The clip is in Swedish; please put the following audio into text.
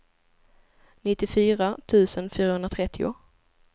nittiofyra tusen fyrahundratrettio